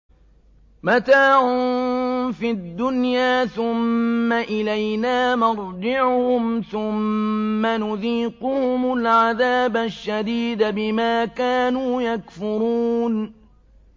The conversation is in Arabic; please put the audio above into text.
مَتَاعٌ فِي الدُّنْيَا ثُمَّ إِلَيْنَا مَرْجِعُهُمْ ثُمَّ نُذِيقُهُمُ الْعَذَابَ الشَّدِيدَ بِمَا كَانُوا يَكْفُرُونَ